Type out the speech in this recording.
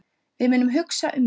Við munum hugsa um mömmu.